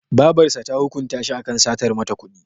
Babarsa ta hukunta shi akan satar mata kuɗi.